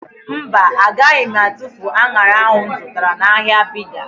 Mba, agaghị m atufu an̄ara ahụ m zụtara n'ahịa Bida.